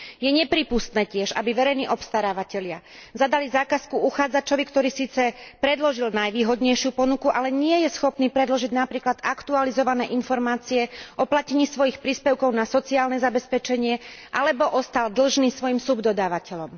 Je tiež neprípustné, aby verejní obstarávatelia zadali zákazku uchádzačovi, ktorý síce predložil najvýhodnejšiu ponuku, ale nie je schopný predložiť napríklad aktualizované informácie o platení svojich príspevkov na sociálne zabezpečenie alebo ostal dlžný svojim subdodávateľom.